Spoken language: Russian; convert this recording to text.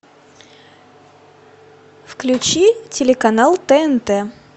включи телеканал тнт